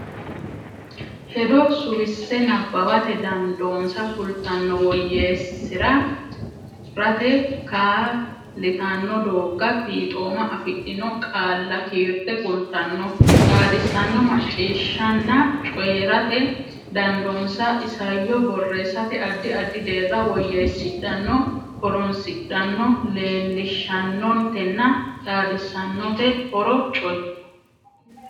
hedo suwisse nabbawate dandoonsa kultanno woyyeessi rate kaa litanno dooga fixxooma afidhino qaalla kiirte kultanno xaadissanno macciishshanna coyi rate dandoonsa isayyo borreessate addi addi deerra woyyeessidhanno horonsidhanno leellishaanotenna xaadisaanote horo coy.